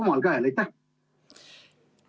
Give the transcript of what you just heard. Aitäh küsimuse eest!